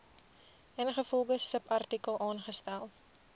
ingevolge subartikel aangestel